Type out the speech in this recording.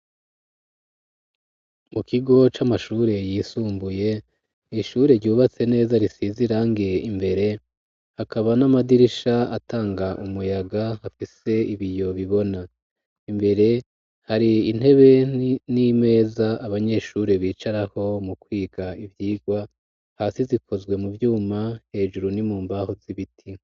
Mu kigo c'amashure yisumbuye ishure ryubatse neza risize irangi imbere hakaba n'amadirisha atanga umuyaga hafise ibiyo bibona. imbere hari intebe n'imeza abanyeshure bicarako mu kwiga ivyigwa, hasi zikozwe mu vyuma hejuru ni mu mbaho z'ibiti.